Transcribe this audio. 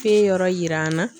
Fɛn yɔrɔ yira an na